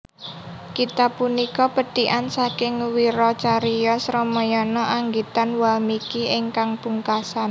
Kitab punika pethikan saking wiracariyos Ramayana anggitan Walmiki ingkang pungkasan